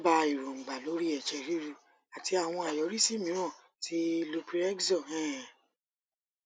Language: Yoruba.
dábàá èròǹgbà lórí i ẹjẹ ríru àti àwọn àyọrísí mìíràn ti loprinextor um